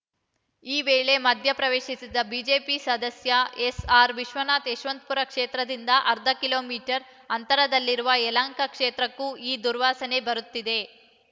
ಈ ವೇಳೆ ಮಧ್ಯಪ್ರವೇಶಿಸಿದ ಬಿಜೆಪಿ ಸದಸ್ಯ ಎಸ್‌ಆರ್‌ವಿಶ್ವನಾಥ್‌ ಯಶವಂತಪುರ ಕ್ಷೇತ್ರದಿಂದ ಅರ್ಧ ಕಿಲೋ ಮೀಟರ್ ಅಂತರದಲ್ಲಿರುವ ಯಲಹಂಕ ಕ್ಷೇತ್ರಕ್ಕೂ ಆ ದುರ್ವಾಸನೆ ಬರುತ್ತಿದೆ